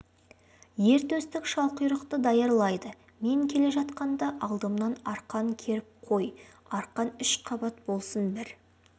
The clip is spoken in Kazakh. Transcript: ер төстік шалқұйрықты даярлайды мен келе жатқанда алдымнан арқан керіп қой арқан үш қабат болсын бір